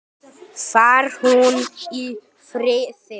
Far hún í friði.